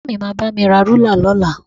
Bàbá mi máa bá mi ra rúlà lọ́la